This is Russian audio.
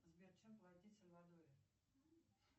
сбер чем платить в сальвадоре